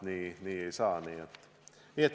Nii ei saa.